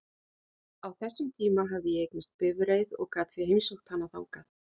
Á þessum tíma hafði ég eignast bifreið og gat því heimsótt hana þangað.